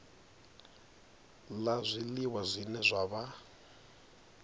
la zwiliwa zwine zwa vha